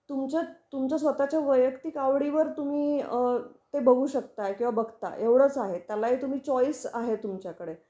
तुमच तुमच्या स्वतः च्या वैयक्तिक आवडींवर तुम्ही अ ते बघू शकताय किंवा बघता आहे, एवढच आहे. त्यालाही तुम्ही चॉईस आहे तुमच्याकडे.